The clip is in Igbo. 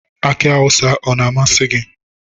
Aki awụsa ọ na-amasị gi?